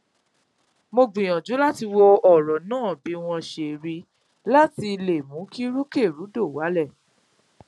mo gbìyànjú láti wo ọràn náà bí wọn ṣe ríi láti le mú kí rúkèrúdò wálẹ